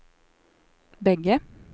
bägge